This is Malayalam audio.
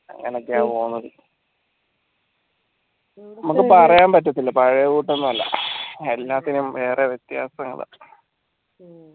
അങ്ങനെക്കെയാണ് നമ്മക് പറയാൻ പറ്റത്തില്ല പഴയെ കൂട്ടൊന്നുമല്ല എല്ലാത്തിനും കൊറേ വ്യത്യാസങ്ങള്